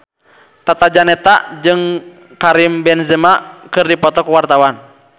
Tata Janeta jeung Karim Benzema keur dipoto ku wartawan